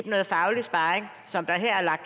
noget faglig sparring som der her er